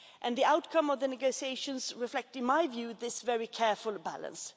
The outcome of the negotiations reflects, in my view, this careful balance.